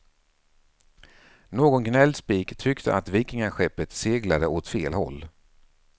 Någon gnällspik tyckte att vikingaskeppet seglade åt fel håll.